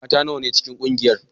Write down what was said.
Mata nawa ne ke cikin kungiyar?